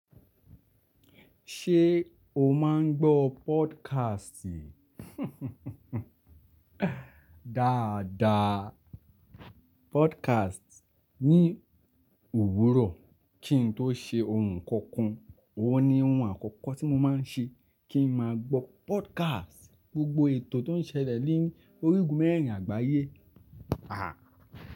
Ṣé o máa ń gbọ́ podcast? Dáadáa. Podcast ní òwúrọ̀ kí n tó ṣe ohun kankan, òun ni ohun àkọ́kọ́ tí mo máa ń ṣe kí n máa gbọ́ podcast. Gbogbo ètò tó ń ṣẹlẹ̀ lórí ògùn mẹ́rin àgbáyé. Aha!